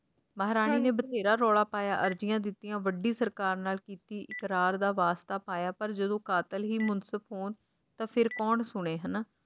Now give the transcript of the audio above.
ਮਹਾਰਾਣੀ ਨੇ ਬਥੇਰਾ ਰੌਲਾ ਪਾਇਆ ਅਰਜ਼ੀਆਂ ਦਿੱਤੀਆਂ ਵੱਡੀ ਸਰਕਾਰ ਨਾਲ ਕੀਤੀ ਇਕਰਾਰ ਦਾ ਵਾਸਤਾ ਪਾਇਆ ਪਰ ਜਦੋ ਕਾਤਲ ਹੀ ਮੁਨਸਿਫ ਹੋਣ ਤਾਂ ਫੇਰ ਕੌਣ ਸੁਣੇ ਹਨਾਂ